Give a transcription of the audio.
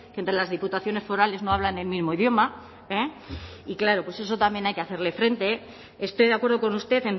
que entre las diputaciones forales no hablan el mismo idioma y claro pues a eso también hay que hacerle frente estoy de acuerdo con usted